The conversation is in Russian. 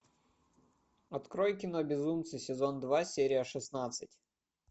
открой кино безумцы сезон два серия шестнадцать